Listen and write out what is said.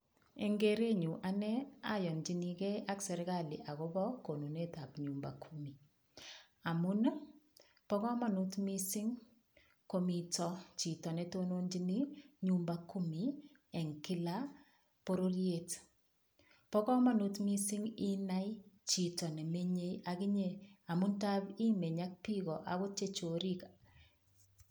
Eng' kerenyu ane ayonjinigei ak serikali akobo konunetab nyumba kumi amun bo komonut mising' komito chito netononjini nyumba kumi eng' kila pororiet bo komonut mising' inai chito nemenyei akinye amun taap imeny ak biko akot chechorik